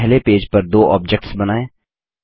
पहले पेज पर दो ऑब्जेक्ट्स बनाएँ